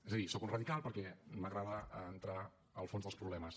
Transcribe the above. és a dir soc un radical perquè m’agrada entrar al fons dels problemes